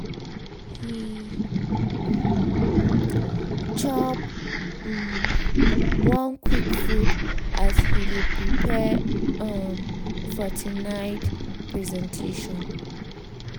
he um chop um one quick food as he dey prepare um for night presentation.